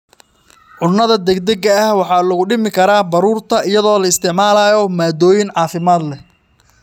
Cunnada degdega ah waxaa lagu dhimi karaa baruurta iyadoo la isticmaalayo maaddooyin caafimaad leh.